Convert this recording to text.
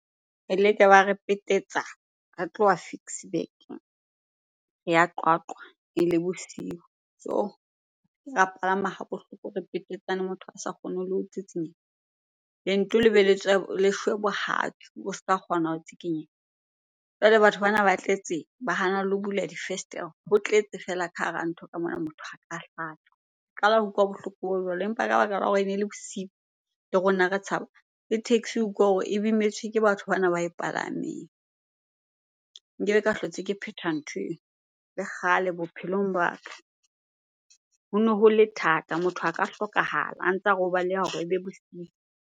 Eleke ba re petetsa. Re tloha Ficksburg, re ya Qwaqwa ele bosiu. Yoh! Ke la palama ha bohloko re petetsane, motho a sa kgone le ho tsitsinyeha. Lento le be le tswe, le shwe bohatsu o ska kgona ho tsikinyeha. Jwale batho bana ba tletse ba hana lo bula difestere, ho tletse fela ka hara ntho ka mona, motho a ka hlatsa. Qala ho utlwa bohloko bo jwalo empa ka baka la hore ne le bosiu le rona re tshaba, le taxi o hore e bimetswe ke batho bana ba e palameng. Nkebe ka hlotse ke phetha nthweo, le kgale bophelong ba ka. Hono hole thata, motho a ka hlokahala a ntsa re o baleha hore ebe bosiu.